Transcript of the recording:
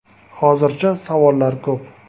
“Hozircha savollar ko‘p.